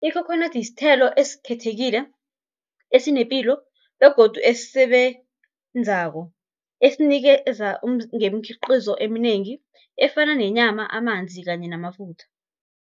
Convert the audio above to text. Ikhokhonadi sithelo esikhethekile, esinepilo, begodu esisebenzako esinikeza ngemikhiqizo eminengi, efana nenyama, amanzi kanye namafutha